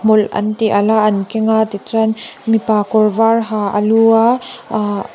hmawlh an ti alh a an keng a tichuan mipa kawr var ha a lu a ahh--